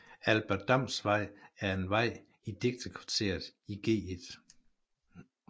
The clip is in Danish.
Albert Dams Vej er en vej i digterkvarteret i Gl